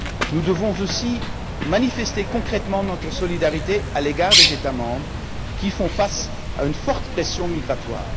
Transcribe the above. Nous devons aussi exprimer concrètement notre solidarité à l'égard des États membres qui font face à une forte pression migratoire.